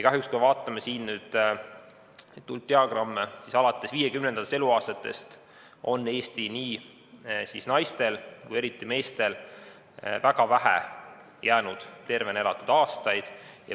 Kahjuks, kui me vaatame tulpdiagramme, siis näeme, et alates 50. eluaastatest on Eestis nii naistel kui ka meestel jäänud väga vähe tervena elatavaid aastaid.